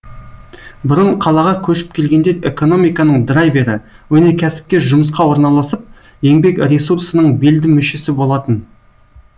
бұрын қалаға көшіп келгендер экономиканың драйвері өнеркәсіпке жұмысқа орналасып еңбек ресурсының белді мүшесі болатын